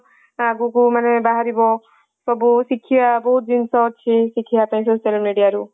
ଆଗକୁ ମାନେ ବାହାରିବ ସବୁ ଶିଖିବା ବହୁତ ଜିନିଷ ଅଛି ଶିଖିବା ପାଇଁ social media ରୁ